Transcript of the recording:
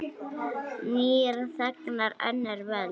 Nýir þegnar, önnur völd.